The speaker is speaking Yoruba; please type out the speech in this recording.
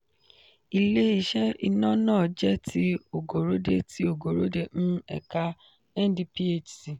ilé-iṣẹ iná náà jẹ ti ogorode ti ogorode um ẹka ndphc.